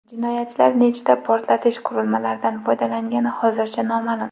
Jinoyatchilar nechta portlatish qurilmalaridan foydalangani hozircha noma’lum.